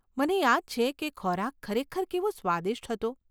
મને યાદ છે કે ખોરાક ખરેખર કેવો સ્વાદીષ્ટ હતો.